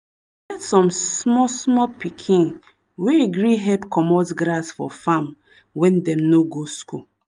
some small small pikin wey gree help commot grass for farm when dem no go school